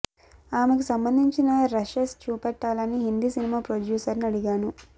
ఆమెకు సంబంధించిన రషెస్ చూపెట్టాలని హిందీ సినిమా ప్రొడ్యూసర్ ను అడిగాను